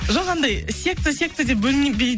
жоқ андай секта секта деп бөлінбей